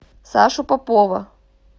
сашу попова